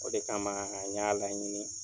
O de kama an y'a laɲini.